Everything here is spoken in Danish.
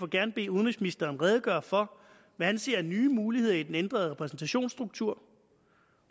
gerne bede udenrigsministeren redegøre for hvad han ser af nye muligheder i den ændrede repræsentationsstruktur